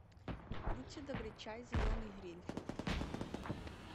будьте добры чай зеленый гринфилд